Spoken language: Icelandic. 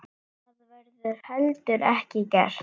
Það verður heldur ekki gert.